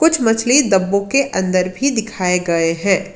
मछली डब्बों के अंदर भी दिखाए गए हैं।